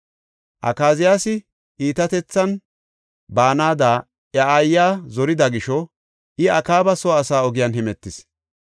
Akaziyaasi iitatethan baanada iya aayiya zorida gisho I Akaaba soo asaa ogiyan hemetis.